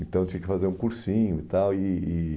Então tinha que fazer um cursinho e tal. E e